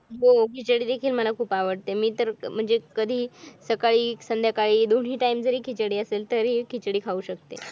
हो खिचडी देखील मला खूप आवडते मी म्हणजे कधीही सकाळी संध्याकाळी दोन्ही time जरी खिचडी असेल तरीही खिचडी खाऊ शकते.